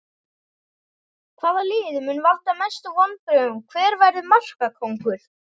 Hvaða lið mun valda mestu vonbrigðum Hver verður markakóngur?